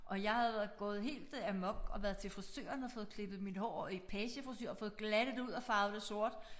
Og jeg havde gået helt amok og været til frisøren og fået klippet mit hår i pagefrisure og fået glattet det ud og farvet det sort